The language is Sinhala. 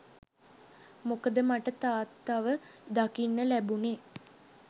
මොකද මට තාත්තව දකින්න ලැබුණේ